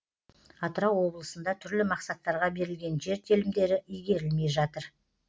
атырау облысында түрлі мақсаттарға берілген жер телімдері игерілмей жатыр